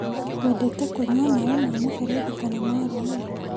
Wendete kũnyua maĩ ma mũberethi kana ma rũĩ?